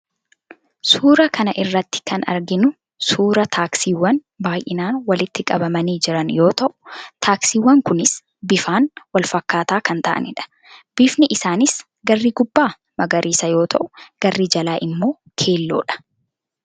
Suuraa kana irratti kan arginu suuraa taaksiiwwan baay'inaan walitti qabamanii jiran yoo ta'u, taaksiiwwan kunis bifaan walfakkaataa kan ta'anidha. Bifni isaanis garri gubbaa magariisa yoo ta'u, garri jalaa immoo keelloodha.